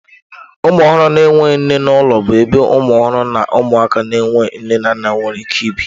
Ụmụ ọhụrụ na-enweghị nne n'ụlọ bụ ebe ụmụ ọhụrụ na ụmụaka na-enweghị nne na nna nwere ike ibi.